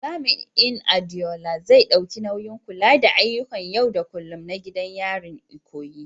Jami’in Adeola, zai ɗauki nauyin kula da ayyukan yau da kullum na gidan yarin Ikoyi.